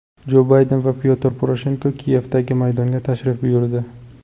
Jo Bayden va Pyotr Poroshenko Kiyevdagi Maydonga tashrif buyurdi.